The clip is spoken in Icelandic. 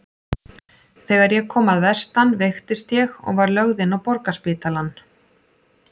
Þegar ég kom að vestan veiktist ég og var lögð inn á Borgarspítalann.